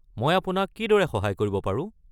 মই আপোনাক কিদৰে সহায় কৰিব পাৰো?